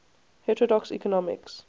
heterodox economics